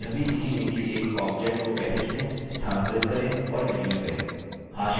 आप यह भी सीखेंगे कि एक object को कैसे चुनें स्थानांतरित करें और डिलीट करें